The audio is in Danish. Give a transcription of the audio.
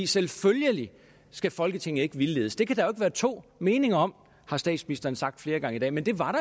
selvfølgelig skal folketinget ikke vildledes det kan der jo være to meninger om har statsministeren sagt flere gange i dag men det var